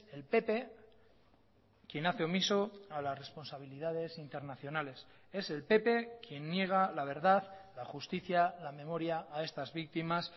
el pp quien hace omiso a las responsabilidades internacionales es el pp quien niega la verdad la justicia la memoria a estas víctimas